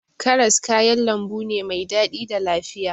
Karas kayan lambu ne mai daɗi da lafiya.